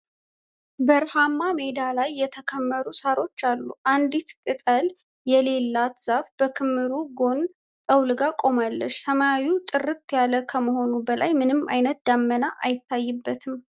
በረሃማ ሜዳ ላይ የተከመሩ ሳሮች አሉ። አንዲት ቅጠል የሌላት ዛፍ በክምሩ ጎን ጠውልጋ ቆማለች። ሰማዩ ጥርት ያለ ከመሆኑ በላይ ምንም አይነት ደመና አይታይበትም።